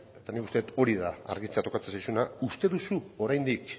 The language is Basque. eta nik uste dut hori da argitzea tokatzen zaizuna uste duzu oraindik